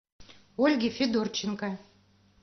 ольге федорченко